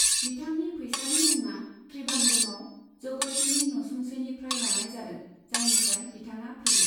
बिथांनि फैसालि मुङा त्रिबान्द्रमआव जगतीनि न'सुंसेनिफ्राय लानाय जादों, जायनिफ्राय बिथाङा फैयो।